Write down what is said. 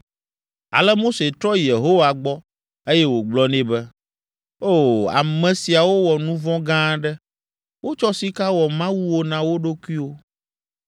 Ale Mose trɔ yi Yehowa gbɔ, eye wògblɔ nɛ be, “O, ame siawo wɔ nu vɔ̃ gã aɖe: wotsɔ sika wɔ mawuwo na wo ɖokuiwo.